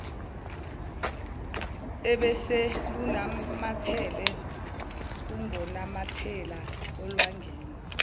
obeselunamathele ungonamathela olwangeni